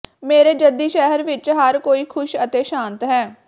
ਮੇਰੇ ਜੱਦੀ ਸ਼ਹਿਰ ਵਿੱਚ ਹਰ ਕੋਈ ਖੁਸ਼ ਅਤੇ ਸ਼ਾਂਤ ਹੈ